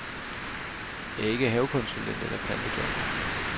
Jeg er ikke havekonsulent eller plantedoktor.